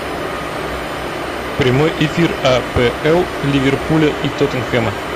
прямой эфир апл ливерпуля и тоттенхэма